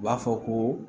U b'a fɔ ko